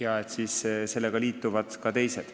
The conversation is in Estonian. Küll siis liituvad sellega ka teised.